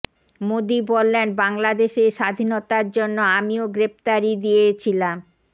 মোদী বললেন বাঙ্গলাদেশের স্বাধীনতার জন্য আমিও গ্রেপ্তারী দিয়ে ছিলাম